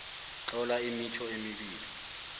tlola imitjho emibili